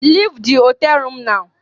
Leave the hotel room now